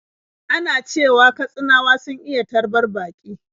Ana cewa Katsinawa sun iya tarbar baƙi.